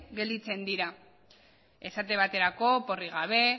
gelditzen dira esate baterako oporrik gabe